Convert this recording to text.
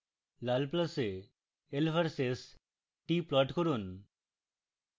লাল pluses l versus t plot করুন